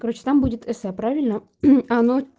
короче там будет эсэ правильно оно